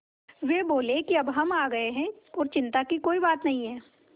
वे बोले कि अब हम आ गए हैं और चिन्ता की कोई बात नहीं है